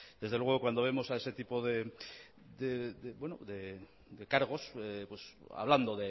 desde luego que cuando vemos a ese tipo de cargos hablando